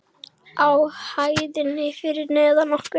Á hæðinni fyrir neðan okkur.